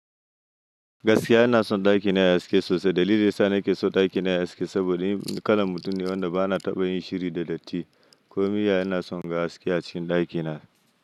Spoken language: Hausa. Gaskiya ina son ɗakina ya yi haske sosai. Dalili nesa nake so ɗakina ya yi haske saboda ni kalon mutum ne wanda ba na taɓa yin shiri da datti. Komai ya na son gan haske a cikin ɗakina.